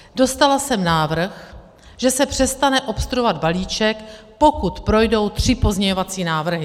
Dostala jsem návrh, že se přestane obstruovat balíček, pokud projdou tři pozměňovací návrhy.